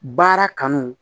Baara kanu